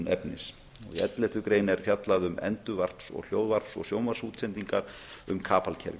efnis í elleftu grein er fjallað um endurvarp hljóðvarps og sjónvarpsútsendinga um kapalkerfi